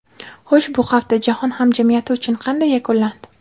Xo‘sh, bu hafta jahon hamjamiyati uchun qanday yakunlandi?